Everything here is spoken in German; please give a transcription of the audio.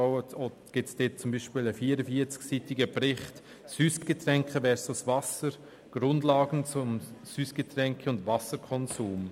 Man findet beispielsweise einen 44-seitigen Bericht «Süssgetränke versus Wasser – Grundlagen zum Süssgetränke- und Wasserkonsum».